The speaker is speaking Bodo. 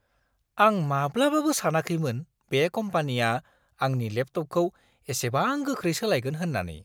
आं माब्लाबाबो सानाखैमोन बे कम्पानिया आंनि लेपटपखौ एसेबां गोख्रै सोलायगोन होननानै।